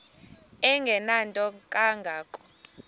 engenanto kanga ko